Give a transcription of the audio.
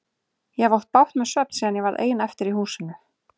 Ég hef átt bágt með svefn síðan ég varð ein eftir í húsinu.